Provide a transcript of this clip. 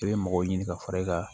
I bɛ mɔgɔw ɲini ka fara e kan